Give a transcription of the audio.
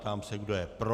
Ptám se, kdo je pro.